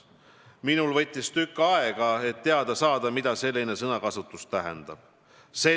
Minul võttis tükk aega, et teada saada, mida selline sõnakasutus tähendab?